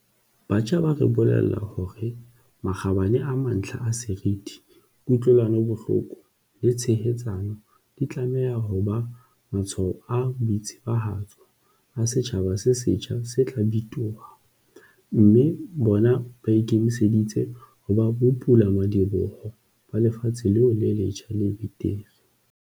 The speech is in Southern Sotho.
Batjha ba re bolella hore makgabane a mantlha a seriti, ku-tlwelanobohloko le tshehetsano di tlameha ho ba matshwao a boitsebahatso a setjhaba se setjha se tla bitoha, mme bona ba ikemiseditse ho ba bopulamadi-boho ba lefatshe leo le letjha le betere.